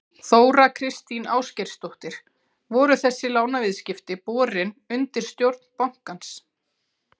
Þóra Kristín Ásgeirsdóttir: Voru þessi lánaviðskipti borin undir stjórn bankans?